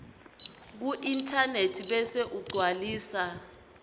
kuinternet bese ugcwalisa